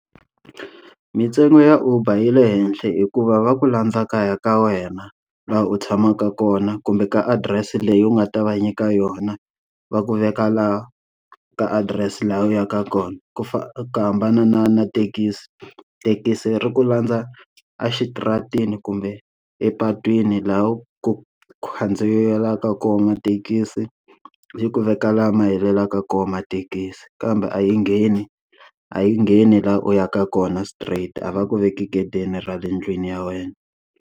Mintsengo ya Uber yi le henhla hikuva va ku landza kaya ka wena laha u tshamaka kona kumbe ka adirese leyi u nga ta va nyika yona, va ku veka laha ka adirese laha u yaka kona. Ku ku hambana na na thekisi, thekisi ri ku landza axitaratini kumbe epatwini laha ku ku khandziyeriwaka kona mathekisi yi ku veka laha ma helela ka kona mathekisi. Kambe a yi ngheni a yi ngheni laha u yaka kona straight a va ku veka gedeni ra le ndlwini ya wena.